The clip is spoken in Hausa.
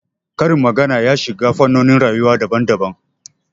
Karin magana ya shiga fannonin rayuwa daban daban